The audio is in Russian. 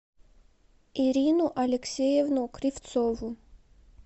ирину алексеевну кривцову